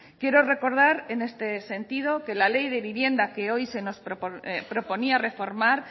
quiero recordar en este sentido que la ley de vivienda que hoy se nos proponía reformar